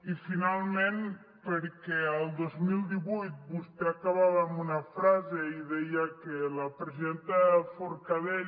i finalment perquè el dos mil divuit vostè acabava amb una frase i deia que la presidenta forcadell